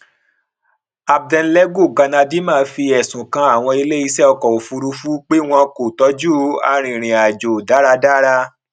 abednego galadima fi ẹsùn kan àwọn ilé iṣẹ ọkọ òfurufú pé wọn kò tọjú arìnrìnàjò dáradára